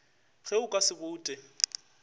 ge o ka se boute